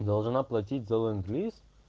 должна платить за ленд-лиз